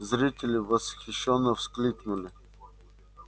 зрители восхищённо вскрикнули